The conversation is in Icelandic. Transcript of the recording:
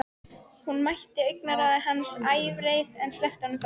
Hún mætti augnaráði hans, ævareið, en sleppti honum þó.